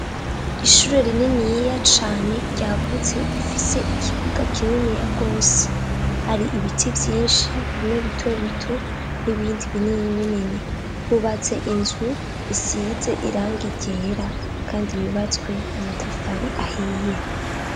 Ishure rininiya cane ryagutse rifise ikibuga kininiya gwose hari ibiti vyinshi bimwe bitobito n'ibindi binini binini, hubatse inzu isize irangi ryera kandi yubatswe n'amatafari ahiye.